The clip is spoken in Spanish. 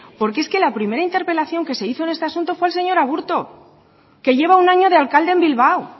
porque es que la primera interpelación que se hizo en este asunto fue el señor aburto que lleva un año de alcalde en bilbao